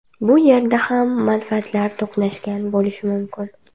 Bu yerda ham manfaatlar to‘qnashgan bo‘lishi mumkin.